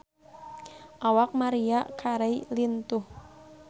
Awak Maria Carey lintuh